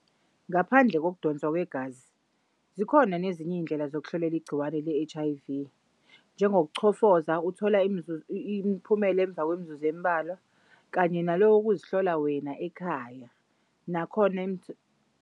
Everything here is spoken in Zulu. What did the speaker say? Ngaphandle kokudonswa kwegazi zikhona nezinye iy'ndlela zokuhlolelwa igciwane le-H_I_V njengoku chofoza uthola imiphumela emva kwemizuzu emibalwa kanye nalokhu kokuzihlola wena ekhaya nakhona .